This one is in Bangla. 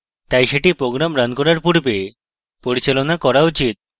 তাই সেটি program running করার পূর্বে পরিচালনা করা উচিত